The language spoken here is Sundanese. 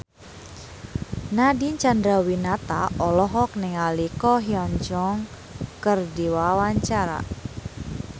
Nadine Chandrawinata olohok ningali Ko Hyun Jung keur diwawancara